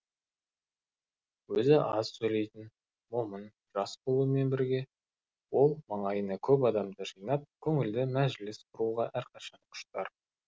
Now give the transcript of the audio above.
өзі аз сөйлейтін момын жас болумен бірге ол маңайына көп адамды жинап көңілді мәжіліс құруға әрқашан құштар